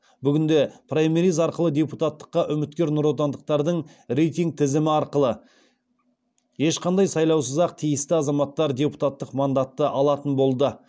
бүгінде праймериз арқылы депутаттыққа үміткер нұротандықтардың реитинг тізімі арқылы ешқандай сайлаусыз ақ тиісті азаматтар депуттық мандатты алатын болды